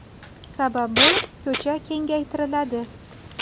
Sababi, ko‘cha kengaytiriladi.